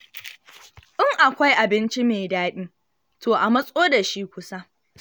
In akwai abin ci mai daɗi, to a matso da shi kusa.